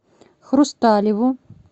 хрусталеву